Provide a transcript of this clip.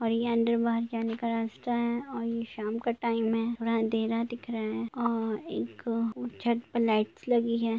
और ये अंदर बाहर जाने का रास्ता है और ये शाम का टाईम है और अँधेरा दिख रहा है और एक छत पे लाईटस लगी है।